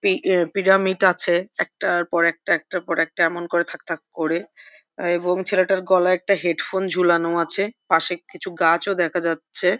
P অ্যা pyramid আছে একটার পর একটা একটার পর একটা এমন করে থাকথাক করে এবং ছেলেটার গলায় একটা হেডফোন ঝোলানো আছে পাশে কিছু গাছ ও দেখা যাচ্ছে ।